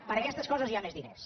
per a aquestes coses hi ha més diners